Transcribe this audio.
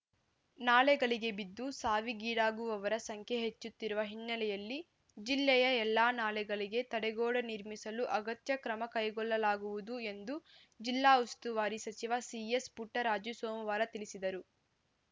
ನಾಲೆಗಳಿಗೆ ಬಿದ್ದು ಸಾವಿಗೀಡಾಗುವವರ ಸಂಖ್ಯೆ ಹೆಚ್ಚುತ್ತಿರುವ ಹಿನ್ನೆಲೆಯಲ್ಲಿ ಜಿಲ್ಲೆಯ ಎಲ್ಲಾ ನಾಲೆಗಳಿಗೆ ತಡೆಗೋಡೆ ನಿರ್ಮಿಸಲು ಅಗತ್ಯ ಕ್ರಮ ಕೈಗೊಳ್ಳಲಾಗುವುದು ಎಂದು ಜಿಲ್ಲಾ ಉಸ್ತುವಾರಿ ಸಚಿವ ಸಿಎಸ್‌ ಪುಟ್ಟರಾಜು ಸೋಮವಾರ ತಿಳಿಸಿದರು